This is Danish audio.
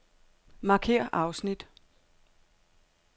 Markér afsnit.